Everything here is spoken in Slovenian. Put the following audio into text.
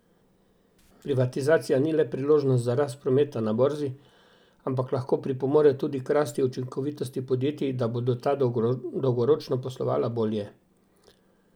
Privatizacija ni le priložnost za rast prometa na borzi, ampak lahko pripomore tudi k rasti učinkovitosti podjetij, da bodo ta dolgoročno poslovala bolje.